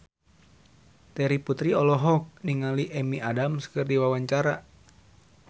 Terry Putri olohok ningali Amy Adams keur diwawancara